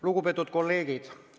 Lugupeetud kolleegid!